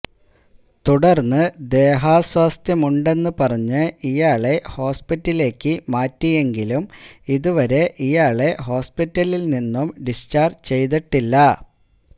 തുടർന്ന് ദേഹാസ്വാസ്ഥ്യമുണ്ടെന്ന് പറഞ്ഞ് ഇയാളെ ഹോസ്പിറ്റലിലേക്ക് മാറ്റിയെങ്കിലും ഇതുവരെ ഇയാളെ ഹോസ്പിറ്റലിൽ നിന്നും ഡിസ്ചാർജ് ചെയ്തിട്ടില്ല